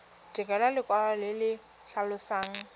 direlwa lekwalo le le tlhalosang